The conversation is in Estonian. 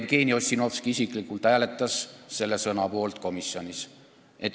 Ka Jevgeni Ossinovski isiklikult hääletas komisjonis selle sõna poolt.